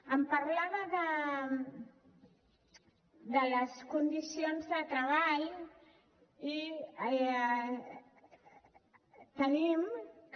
em parlava de les condicions de treball i tenim que